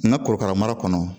N ka korokara mara kɔnɔ